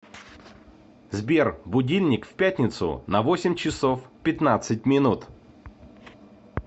сбер будильник в пятницу на восемь часов пятнадцать минут